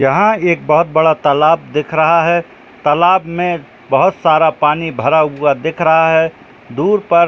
यहां एक बहुत बड़ा तालाब दिख रहा है तालाब में बहुत सारा पानी भरा हुआ दिख रहा है दूर पर --